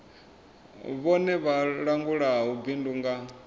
vhone vha langulaho bindu nga